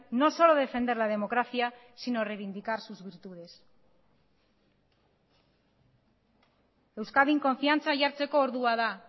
no solo defender la democracia sino reivindicar sus virtudes euskadin konfiantza jartzeko ordua da